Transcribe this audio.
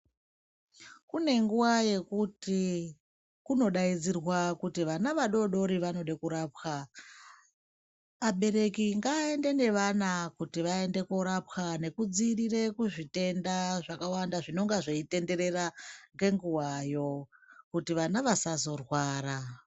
Kune nguwa yekuti kunodaidzirwa kuti vana vadodori vanoda kurapwa vabereki ngava ende nevana kuti vaende korapwa nekudzivirira zvitenda zvakawanda zvinenge zvichitendera ngenguwayo kuti vana vasazorwara.